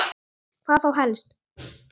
Hvað þá helst?